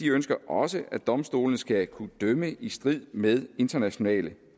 ønsker også at domstolene skal kunne dømme i strid med internationale